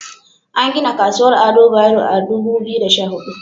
An gina Kasuwar Ado Bayero a Dubu Biyu da Sha Hudu.